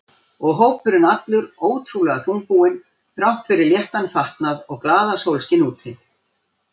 Og hópurinn allur ótrúlega þungbúinn þrátt fyrir léttan fatnað og glaðasólskin úti.